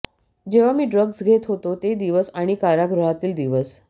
जेव्हा मी ड्रग्ज घेत होतो ते दिवस आणि कारागृहातील दिवस